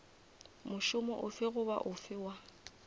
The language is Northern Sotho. mošomo ofe goba ofe wa